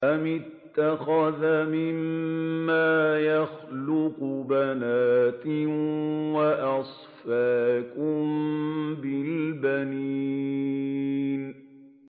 أَمِ اتَّخَذَ مِمَّا يَخْلُقُ بَنَاتٍ وَأَصْفَاكُم بِالْبَنِينَ